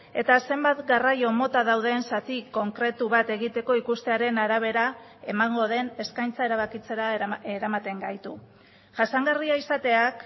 eta zenbat garraio mota dauden zati konkretu bat egiteko ikustearen arabera emango den eskaintza erabakitzera eramaten gaitu jasangarria izateak